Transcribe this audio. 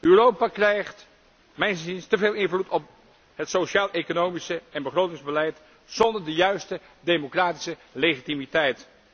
Europa krijgt mijns inziens te veel invloed op het sociaaleconomische en begrotingsbeleid zonder de juiste democratische legitimiteit.